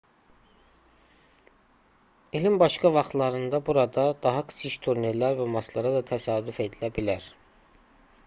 i̇lin başqa vaxtlarında burada daha kiçik turnirlər və maçlara da təsadüf edilə bilər